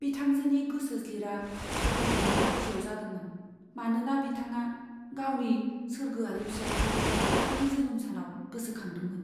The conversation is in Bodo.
बिथांजोनि गोसोज्लिरा सहायनायनि बायजोआव जादोंमोन, मानोना बिथांआ गावनि सोरगोआरि फिसाइखौ बिथांनि जोनोम सानाव गोसोखांदोंमोन।